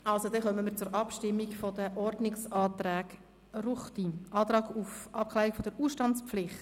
Also, dann kommen wir zur Abstimmung über den Ordnungsantrag Ruchti «Antrag auf Abklärung der Ausstandspflicht».